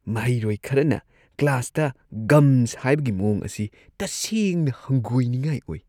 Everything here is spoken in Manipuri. ꯃꯍꯩꯔꯣꯏ ꯈꯔꯅ ꯀ꯭ꯂꯥꯁꯇ ꯒꯝ ꯁꯥꯢꯕꯒꯤ ꯃꯑꯣꯡ ꯑꯁꯤ ꯇꯁꯦꯡꯅ ꯍꯪꯒꯣꯢꯅꯤꯉꯥꯢ ꯑꯣꯢ꯫